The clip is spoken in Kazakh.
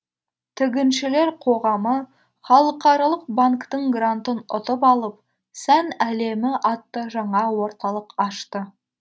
тігіншілер қоғамы халықаралық банктың грантын ұтып алып сән әлемі атты жаңа орталық ашты